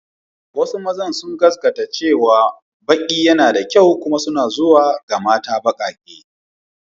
Wasu mazan sun gaskata cewa baki yana da kyau kuma suna zuwa ga mata bakake.